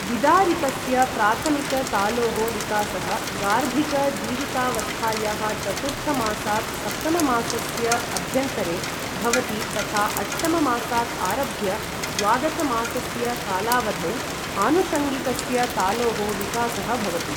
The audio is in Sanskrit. विदारितस्य प्राथमिक तालोः विकासः गार्भिक जीवितावस्थायाः चतुर्थ मासात् सप्तम मासस्य अभ्यन्तरे भवति तथा अष्टम मासात् आरभ्य द्वादशमासस्य कालावधौ आनुषङ्गिकस्य तालोः विकासः भवति।